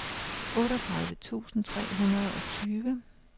otteogtredive tusind tre hundrede og tyve